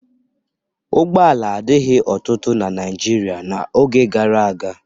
Ụgbọala adịghị ọtụtụ na Naịjirịa n'oge gara aga.